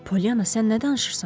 Polyana, sən nə danışırsan?